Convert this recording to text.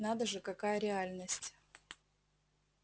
надо же какая реальность